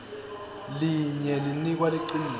linye linikwa liciniso